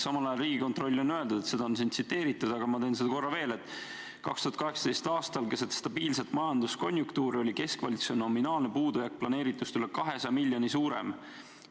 Samal ajal on Riigikontroll öelnud , et 2018. aastal keset stabiilset majanduskonjunktuuri oli keskvalitsuse nominaalne puudujääk planeeritust üle 200 miljoni suurem.